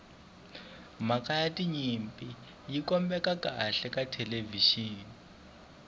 mhaka ya tinyimpi yi kombeka kahle ka thelevixini